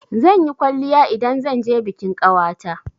Zan yi kwalliya idan zan je bikin ƙawata.